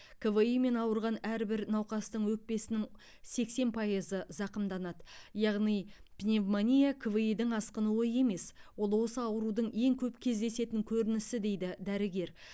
кви мен ауырған әрбір науқастың өкпесінің сексен пайызы зақымданады яғни пневмония кви дің асқынуы емес ол осы аурудың ең көп кездесетін көрінісі дейді дәрігер